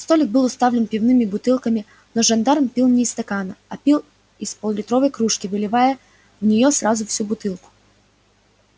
столик был уставлен пивными бутылками но жандарм пил не из стакана а пил из пол литровой кружки выливая в нее сразу всю бутылку